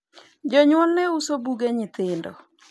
jonyuolne uso buge nyithindo